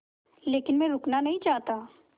लेकिन मैं रुकना नहीं चाहता